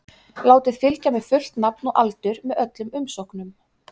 Látið fylgja með fullt nafn og aldur með öllum umsóknum.